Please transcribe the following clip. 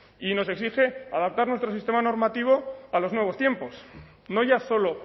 y nos exige adaptar nuestro sistema normativo a los nuevos tiempos no ya solo